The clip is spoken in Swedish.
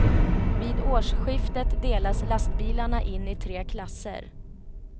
Vid årsskiftet delas lastbilarna in i tre klasser.